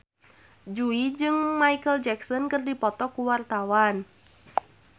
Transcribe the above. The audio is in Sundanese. Jui jeung Micheal Jackson keur dipoto ku wartawan